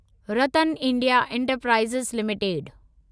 RattanIndia enterprises limited